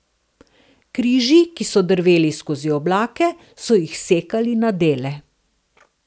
Križi, ki so drveli skozi oblake, so jih sekali na dele.